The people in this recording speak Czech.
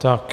Tak.